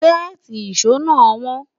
séèti ìsọ nà won